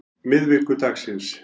miðvikudagsins